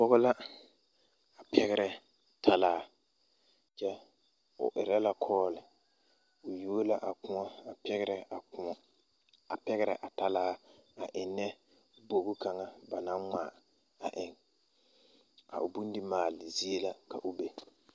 Pɔge la pɛgrɛ talaa kyɛ o erɛ la kɔɔli o yuo la a kõɔ a pɛgrɛ a kõɔ a pɛgrɛ a talaa eŋnɛ bogi kaŋa ba naŋ ngmaa a eŋ a o bondimaale zie la ka o be.